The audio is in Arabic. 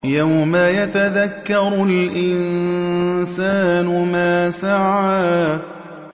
يَوْمَ يَتَذَكَّرُ الْإِنسَانُ مَا سَعَىٰ